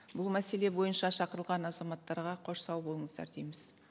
бұл мәселе бойынша шақырылған азаматтарға қош сау болыңыздар дейміз